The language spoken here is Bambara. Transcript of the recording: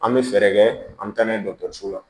An bɛ fɛɛrɛ kɛ an bɛ taa n'a ye dɔgɔtɔrɔso la